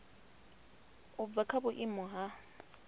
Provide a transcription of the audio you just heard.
u bva kha vhuimo ha